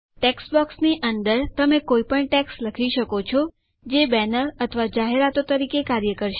ટેક્સ્ટબોક્સની અંદર તમે કઈપણ ટેક્સ્ટ લખી શકો છો જે બેનર અથવા જાહેરાતો તરીકે કાર્ય કરશે